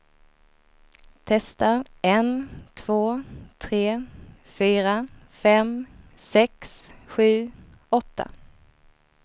Testar en två tre fyra fem sex sju åtta.